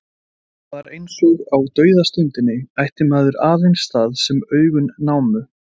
Það var eins og á dauðastundinni ætti maður aðeins það sem augun námu.